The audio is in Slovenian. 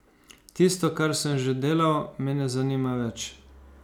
Tisto, kar sem že delal, me ne zanima več.